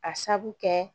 A sabu kɛ